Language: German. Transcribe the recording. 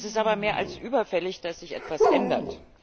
Es ist aber mehr als überfällig, dass sich etwas ändert.